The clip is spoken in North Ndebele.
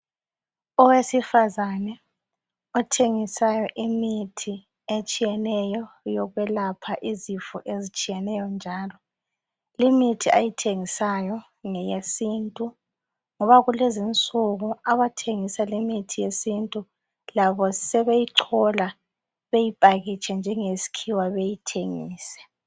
Owesifazane othengisayo imithi etshiyeneyo eyokwelapha izifo ezitshiyeneyo njalo imithi ayithengisayo ngeyesintu ngoba kulezinsuku abathengisa imithi yesintu labo sebeyichola bayiphakitshe njengesikhiwa beyithengise